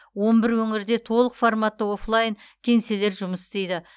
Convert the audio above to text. он бір өңірде толық форматты офлайн кеңселер жұмыс істейді